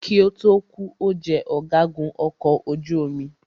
Kí ó tó kù,o jẹ ọ̀gágun ọkọ̀ ojú omi.